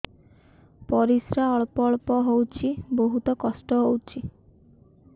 ପରିଶ୍ରା ଅଳ୍ପ ଅଳ୍ପ ହଉଚି ବହୁତ କଷ୍ଟ ହଉଚି